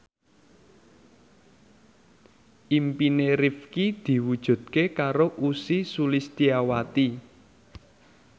impine Rifqi diwujudke karo Ussy Sulistyawati